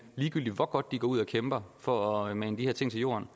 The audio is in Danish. ligegyldig hvor godt de går ud og kæmper for at mane de her ting i jorden